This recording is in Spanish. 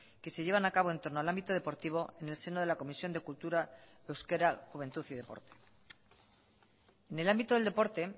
que se llevan a cabo en torno al ámbito deportivo en el seno de la comisión de cultura euskera juventud y deporte en el ámbito del deporte